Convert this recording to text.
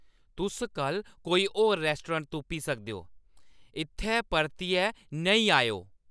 तुस कल्ल कोई होर रेस्टोडेंट तुप्पी सकदे ओ। इत्थै परतियै नेईं आएओ ।